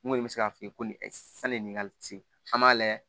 N kɔni bɛ se k'a f'i ye ko nin sanni ka se an b'a layɛ